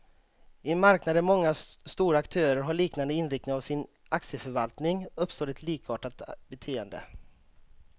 I en marknad där många stora aktörer har liknande inriktning av sin aktieförvaltning, uppstår ett likartat beteende.